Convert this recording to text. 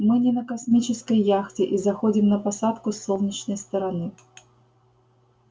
мы не на космической яхте и заходим на посадку с солнечной стороны